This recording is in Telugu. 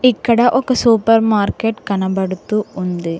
ఇక్కడ ఒక సూపర్ మార్కెట్ కనబడుతూ ఉంది.